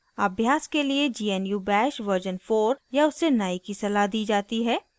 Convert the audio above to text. अभ्यास के लिए gnu bash version 4 या उससे नए की सलाह दी जाती है